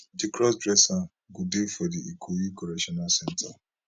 di crossdresser go dey for di ikoyi correctional centre